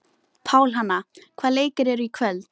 Pálhanna, hvaða leikir eru í kvöld?